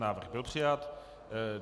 Návrh byl přijat.